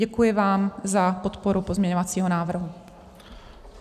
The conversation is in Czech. Děkuji vám za podporu pozměňovacího návrhu.